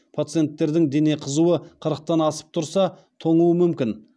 пациенттердің дене қызуы қырықтан асып тұрса тоңуы мүмкін